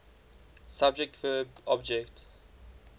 subject verb object